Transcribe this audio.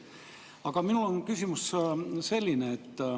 Aga minu küsimus on selline.